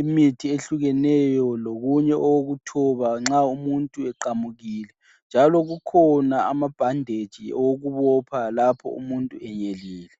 imithi ehlukeneyo. Lokunye okokuthoba lnxa umuntu eqamukile, njalo kukhona amabhanditshi okubopha lapho umuntu enyelile.